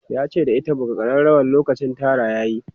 yace da ita"buga karrawar lokacin Tara yayi!'